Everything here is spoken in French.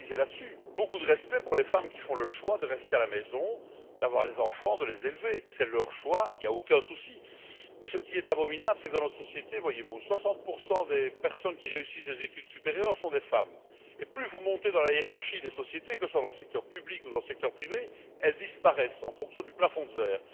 Nous avons beaucoup de respect pour les femmes qui font le choix de rester à la maison, d'avoir les enfants, de les élever, c'est leur choix, il n'y a aucun souci. Mais ce qui est abominable dans notre société, c'est que 60 des personnes qui réussissent des études supérieures sont des femmes et plus vous montez dans la hiérarchie des sociétés que ce soit dans le secteur public ou dans le secteur privé plus elles disparaissent en fonction du plafond de verre.